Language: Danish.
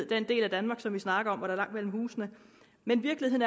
den del af danmark som vi snakker om hvor der er langt mellem husene men virkeligheden